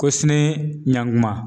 Ko sini ɲankuma